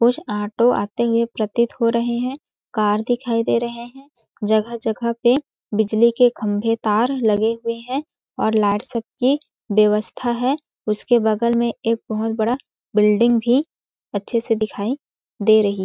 कुछ ऑटो आते हुए प्रतीत हो रहे हैं कार दिखाई दे रहे हैं जगह-जगह पे बिजली के खंभे तार लगे हुए हैं और लाइट सब की व्यवस्था है उसके बगल में एक बहुत बड़ा बिल्डिंग भी अच्छे से दिखाई दे रही है।